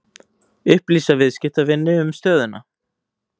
Upplýsa viðskiptavini um stöðuna